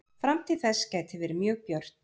Framtíð þess gæti verið mjög björt.